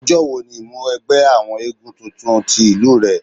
Ọjọ́ wo ni ìmúwẹgbẹ́ àwọn éégún tuntun ti ìlú rẹ?